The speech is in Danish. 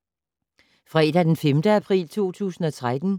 Fredag d. 5. april 2013